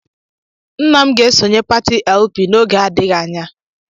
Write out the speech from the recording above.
Nna m ga-esonye pati LP n'oge adịghị anya